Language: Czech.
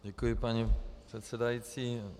Děkuji, paní předsedající.